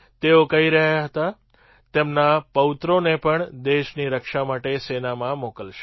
તેઓ કહી રહ્યા હતા તેમના પૌત્રોને પણ દેશની રક્ષા માટે સેનામાં મોકલશે